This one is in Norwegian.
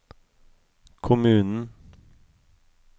kommunen